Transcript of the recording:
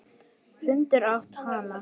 Hundur át hann.